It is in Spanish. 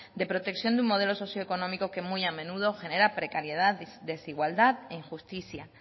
de protección de un modelo socioeconómico que muy a menudo genera precariedad desigualdad e injusticia